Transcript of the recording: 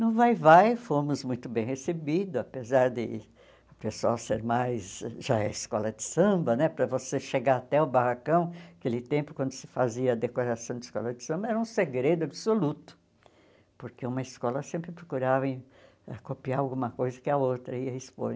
No Vai-vai fomos muito bem recebidos, apesar de o pessoal ser mais, já é escola de samba né, para você chegar até o barracão, aquele tempo, quando se fazia a decoração de escola de samba, era um segredo absoluto, porque uma escola sempre procurava copiar alguma coisa que a outra ia expor.